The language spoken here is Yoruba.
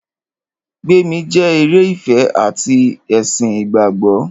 Gbémi jẹ́ eré ìfẹ ati ti ẹ̀sìn ìgbàgbọ́.